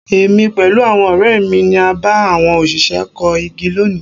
Èmi pẹ̀lú àwọn ọ̀rẹ́ mi ni a bá àwọn òṣìṣẹ́ kó igi lónìí.